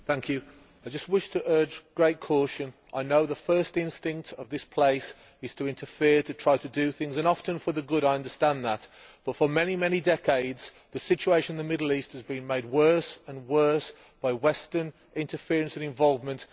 Madam President, I just wish to urge great caution. I know the first instinct of this place is to interfere, to try to do things and often for the good, I understand that, but for many decades the situation in the Middle East has been made worse and worse by Western interference and involvement.